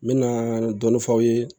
N mɛna dɔɔnin f'aw ye